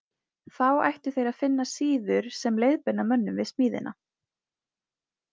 Þá ættu þeir að finna síður sem leiðbeina mönnum við smíðina.